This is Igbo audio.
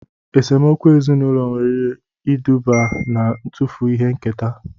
Esemokwu ezinaụlọ nwere iduba na-ntufu ihe nketa